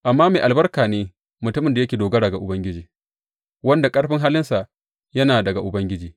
Amma mai albarka ne mutumin da yake dogara ga Ubangiji, wanda ƙarfin halinsa yana daga Ubangiji.